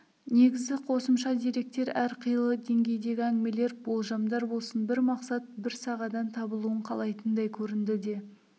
негізгі қосымша деректер әрқилы деңгейдегі әңгімелер болжамдар болсын бір мақсат бір сағадан табылуын қалайтындай көрінді де